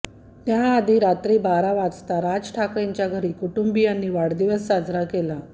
त्याआधी रात्री बारा वाजता राज ठाकरेंच्या घरी कुटुंबियांनी वाढदिवस साजरा केला